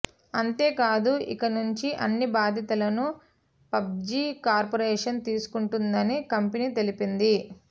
అంతేకాదు ఇకనుంచి అన్ని బాధ్యతలను పబ్జీ కార్పొరేషన్ తీసుకుంటుందని కంపెనీ తెలిపింది